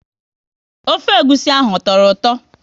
Ofe egwusi ahụ, ọ tọrọ ụtọ?